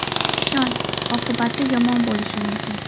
Ishon, oqibati yomon bo‘lishi mumkin.